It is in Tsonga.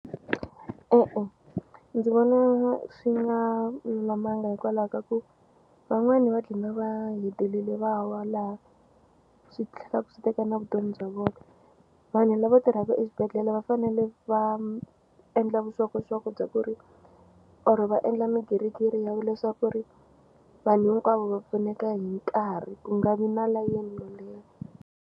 E-e ndzi vona swi nga lulamanga hikwalaho ka ku van'wani va dlina va hetelele va wa laha swi tlhelaku swi teka na vutomi bya vona vanhu lava tirhaka exibedhlele va fanele va endla vuxokoxoko bya ku ri or-o va endla migirigiri ya leswaku ri vanhu hinkwavo va pfuneka hi nkarhi ku nga vi na layeni yo leha.